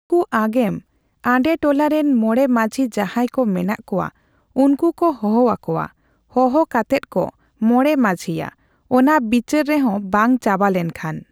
ᱩᱱᱠᱩ ᱟᱜᱮᱢ ᱟᱰᱮ ᱴᱚᱞᱟᱨᱮᱱ ᱢᱚᱬᱮ ᱢᱟᱺᱡᱷᱤ ᱡᱟᱦᱟᱸᱭ ᱠᱚ ᱢᱮᱱᱟᱜ ᱠᱚᱣᱟ ᱾ᱩᱱᱠᱩ ᱠᱚ ᱦᱚᱦᱚ ᱠᱚᱣᱟ ᱦᱚᱦᱚ ᱠᱟᱛᱮᱫ ᱠᱚ ᱢᱚᱬᱮ ᱢᱟᱺᱡᱷᱤᱭᱟ ᱾ᱚᱱᱟ ᱵᱤᱪᱟᱹᱨ ᱨᱮᱦᱚᱸ ᱵᱟᱝ ᱪᱟᱵᱟ ᱞᱮᱱᱠᱷᱟᱱ᱾